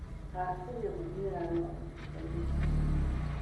Akenya magĩaga na ũrigitani hatarĩ marĩhi